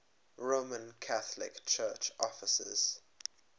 roman catholic church offices